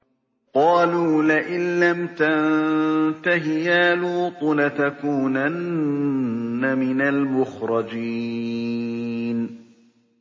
قَالُوا لَئِن لَّمْ تَنتَهِ يَا لُوطُ لَتَكُونَنَّ مِنَ الْمُخْرَجِينَ